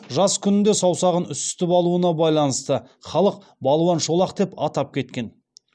жас күнінде саусағын үсітіп алуына байланысты халық балуан шолақ деп атап кеткен